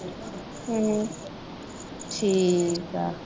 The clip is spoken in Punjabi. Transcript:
ਹੂੰ ਠੀਕ ਹੈ